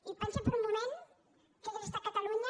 i pensin per un moment què hauria estat catalunya